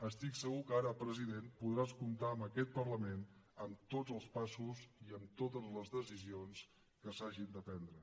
estic segur que ara president podràs comptar amb aquest parlament en tots els passos i en totes les decisions que s’hagin de prendre